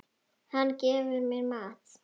Hann gefur mér mat.